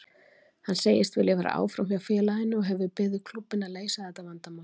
Hann segist vilja vera áfram hjá félaginu og hefur beðið klúbbinn að leysa þetta vandamál.